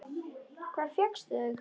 Hvar fékkstu þau?